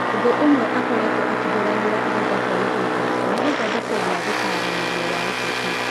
Ũndũ ũmwe akoretwo akĩhũranira ihinda kwa ihinda ni gũthodekwo gwa gũtaranĩrĩo wa ũteti.